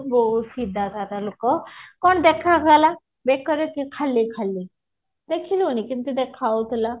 ବହୁତ ସିଧା ସାଧା ଲୋକ କଣ ଦେଖା ଗଲା ବେକରେ କି ଖାଲି ଖାଲି ଦେଖିଲୁନି କେମତି ଦେଖା ଯାଉଥିଲା